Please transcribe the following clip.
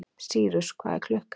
Sýrus, hvað er klukkan?